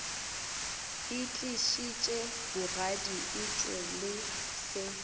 itlišitše bogadi etšwe le se